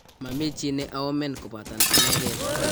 mami chi ne aoomen kobaten anegei